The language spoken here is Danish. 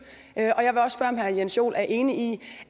og jeg vil også spørge om herre jens joel er enig i